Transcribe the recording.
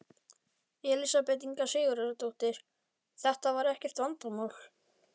Elísabet Inga Sigurðardóttir: Þetta var ekkert vandamál?